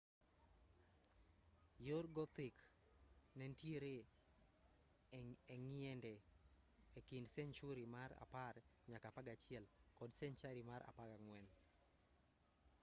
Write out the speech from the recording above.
yor gothic nentiere eng'iende ekind senchuri mar 10-11 kod senchari mar 14